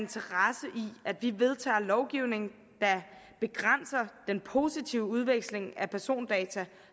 at vi vedtager lovgivning der begrænser den positive udveksling af persondata